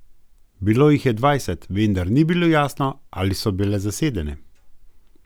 Bilo jih je dvajset, vendar ni bilo jasno, ali so bile zasedene.